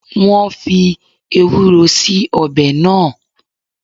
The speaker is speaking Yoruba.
Wọn fii Ewúró síí ọbẹ̀ náà